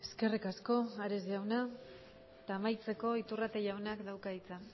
eskerrik asko ares jauna eta amaitzeko iturrate jaunak dauka hitza